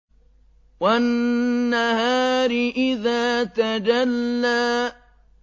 وَالنَّهَارِ إِذَا تَجَلَّىٰ